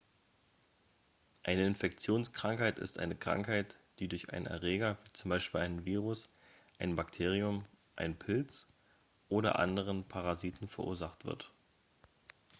eine infektionskrankheit ist eine krankheit die durch einen erreger wie z. b. einen virus ein bakterium einen pilz oder andere parasiten verursacht wird